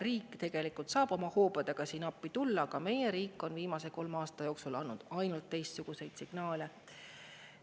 Riik saaks siin tegelikult oma hoobadega appi tulla, aga meie riik on viimase kolme aasta jooksul andnud teistsuguseid signaale.